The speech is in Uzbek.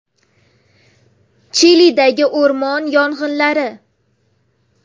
Chilidagi o‘rmon yong‘inlari.